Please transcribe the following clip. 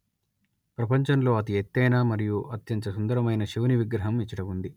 ప్రపంచంలో అతి ఎత్తైన మరియు అత్యంత సుందరమైన శివుని విగ్రహం ఇచట ఉంది